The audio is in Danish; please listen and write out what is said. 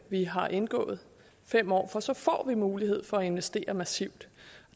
vi har indgået i fem år for så får vi mulighed for at investere massivt